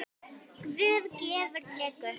Guð gefur og tekur.